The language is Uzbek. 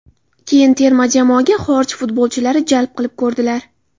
Keyin terma jamoaga xorij futbolchilarini jalb qilib ko‘rdilar.